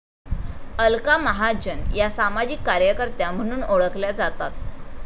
अलका महाजन या सामाजिक कार्यकर्त्या म्हणून ओळखल्या जातात